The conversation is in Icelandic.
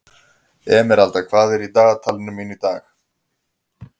Emeralda, hvað er í dagatalinu mínu í dag?